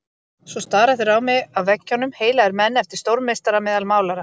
Svo stara þeir á mig af veggjunum, heilagir menn, eftir stórmeistara meðal málara.